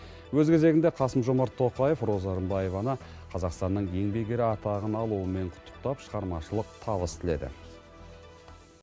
өз кезегінде қасым жомарт тоқаев роза рымбаеваны қазақстанның еңбек ері атағын алуымен құттықтап шығармашылық табыс тіледі